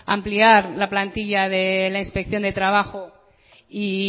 ampliar la plantilla de la inspección de trabajo y